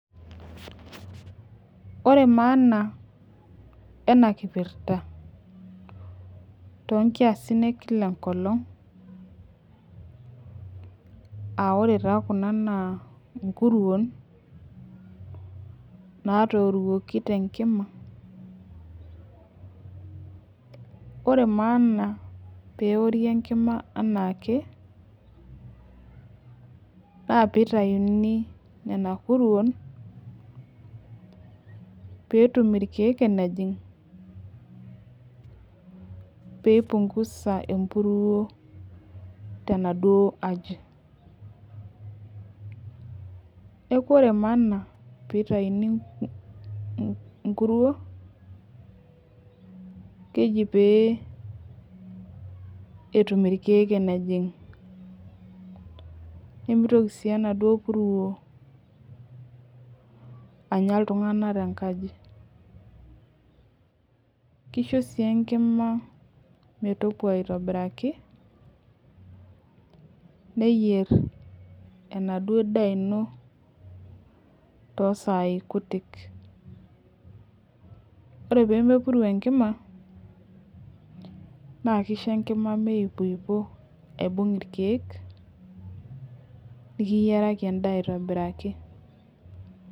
ore maana ena kipirta too nkiasin enkila enkolog aa ore taa Kun naa nkuruon natoruoki tee nkima ore maana pee ewori Enkima enaake naa pitayuni Nena kuruon petum irkeek enejig pee ekipunguza empuruo tenaduo aji neeku ore maana pee eitauni nkuruon keji pee etum irkeek enejig nimitoki sii enaduo puruo Anya iltung'ana tee nkaji kisho sii Enkima metipuo aitobiraki neyier enaduo daa eno too sai kutik ore pee mepuru Enkima naa kisho Enkima meyupupuo aibug irkeek nikiyiaraki endaa aitobiraki